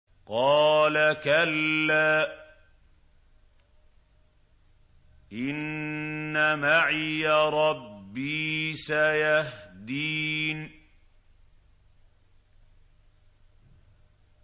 قَالَ كَلَّا ۖ إِنَّ مَعِيَ رَبِّي سَيَهْدِينِ